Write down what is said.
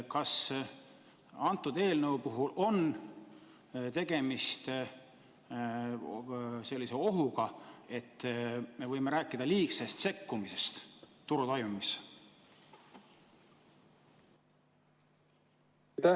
Kas selle eelnõu puhul on tegemist ohuga, et me võime rääkida liigsest sekkumisest turu toimimisse?